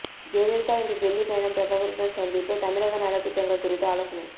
ஜெயலலிதா இன்று டெல்லி பயணம் பிரதமருடன் சந்திப்பு தமிழக நலத்திட்டங்கள் குறித்து ஆலோசனை